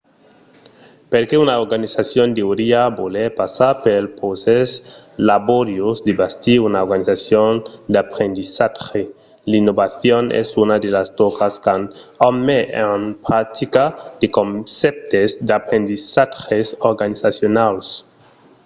perqué una organizacion deuriá voler passar pel procès laboriós de bastir una organizacion d’aprendissatge? l'innovacion es una de las tòcas quand òm met en practica de concèptes d'aprendissatges organizacionals